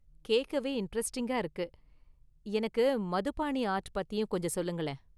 கேக்கவே இண்டரெஸ்ட்டிங்கா இருக்கு, எனக்கு மதுபாணி ஆர்ட் பத்தியும் கொஞ்சம் சொல்லுங்களேன்.